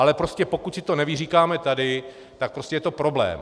Ale prostě pokud si to nevyříkáme tady, tak prostě je to problém.